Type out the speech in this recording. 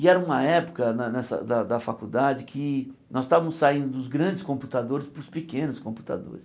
E era uma época ne nessa da da faculdade que nós estávamos saindo dos grandes computadores para os pequenos computadores.